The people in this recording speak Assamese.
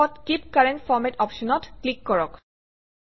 শেষত কীপ কাৰেণ্ট ফৰমাত অপশ্যনত ক্লিক কৰক